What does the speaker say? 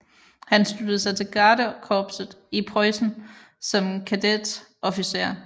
Han sluttede sig til gardekorpset i Preussen som kadetofficer